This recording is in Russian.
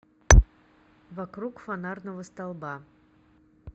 вокруг фонарного столба